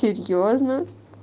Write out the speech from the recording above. серьёзно